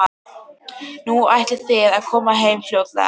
Nú, ætlið þið að koma heim fljótlega?